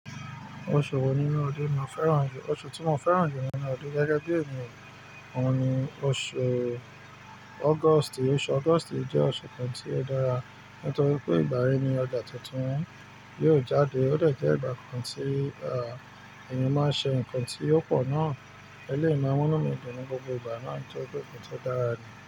Oṣù wo nínú ọdún ni mo fẹ́ràn jù? Oṣù tí mo fẹ́ràn jù nínú ọdún gẹ́gẹ́ bí èmi òun ni oṣù August. Oṣù August jẹ́ oṣù kan tí ó dára nítorí pé ìbàrá ẹni ọjà tuntun yóò jáde, ó dẹ̀ jẹ́ ìgbà kan tí, à, èèyàn máa ṣe nǹkan tí ó pọ̀ náà. Eléèyi ma mu nú mi dun ní gbogbo ìgbà náà torí pé nǹkan tí ó dára ni.